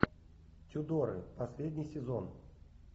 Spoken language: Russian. тюдоры последний сезон